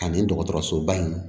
Ani dɔgɔtɔrɔsoba in